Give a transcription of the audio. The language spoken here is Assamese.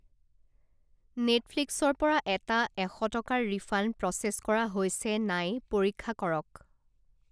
নেটফ্লিক্স ৰ পৰা এটা এশ টকাৰ ৰিফাণ্ড প্ৰ'চেছ কৰা হৈছে নাই পৰীক্ষা কৰক!